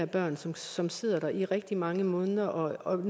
børn som som sidder der i rigtig mange måneder og